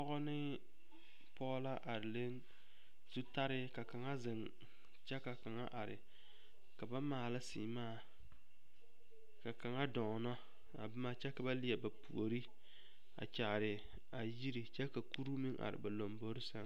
Pɔge ne pɔge la are le zutare ka kaŋa zeŋ kyɛ ka kaŋa are ka ba maala seemaa ka kaŋa dɔɔnɔ a boma kyɛ ka ba leɛ ba puori a kyaari a yiri kyɛ ka kuru meŋ are ba lombori sɛŋ.